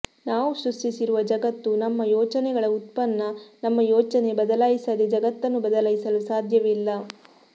ನಾವು ಸೃಷ್ಟಿಸಿರುವ ಜಗತ್ತು ನಮ್ಮ ಯೋಚನೆಗಳ ಉತ್ಪನ್ನ ನಮ್ಮ ಯೋಚನೆ ಬದಲಾಯಿಸದೇ ಜಗತ್ತನ್ನು ಬದಲಾಯಿಸಲು ಸಾಧ್ಯವಿಲ್ಲ